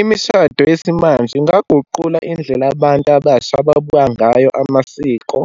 Imishado yesimanje ingaguqula indlela abantu abasha ababuka ngayo amasiko,